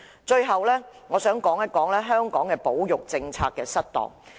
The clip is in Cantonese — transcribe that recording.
最後，我想談談香港保育政策失當的問題。